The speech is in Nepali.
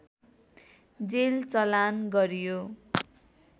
जेल चलान गरियो